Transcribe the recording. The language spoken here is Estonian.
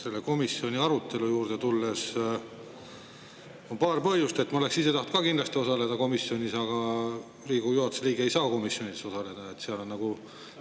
Selle komisjoni arutelu juurde tulles: ma oleksin ise tahtnud kindlasti komisjoni arutelus osaleda, aga Riigikogu juhatuse liige ei saa komisjonide osaleda.